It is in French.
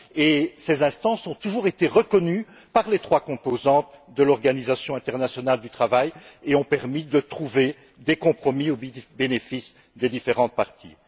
Elles ont toujours été reconnues par les trois composantes de l'Organisation internationale du travail et ont permis de trouver des compromis au bénéfice des différentes parties.